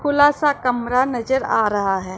खुला सा कमरा नजर आ रहा हैं।